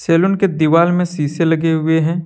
Salon के दीवाल में शीशे लगे हुए हैं।